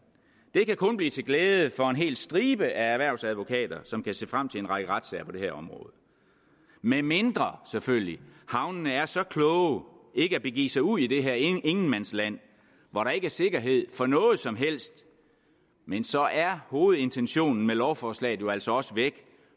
det kan kun blive til glæde for en hel stribe af erhvervsadvokater som kan se frem til en række retssager på det her område medmindre selvfølgelig havnene er så kloge ikke at begive sig ud i det her ingenmandsland hvor der ikke er sikkerhed for noget som helst men så er hovedintentionen med lovforslaget jo altså også væk